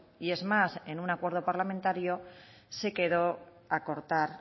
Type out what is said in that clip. y es más en un acuerdo parlamentario se quedó acortar